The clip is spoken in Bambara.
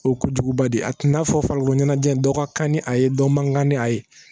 O ye kojuguba de ye a tun y'a fɔ farikolo ɲɛnajɛ dɔ ka kan ni a ye dɔ man kan ni a ye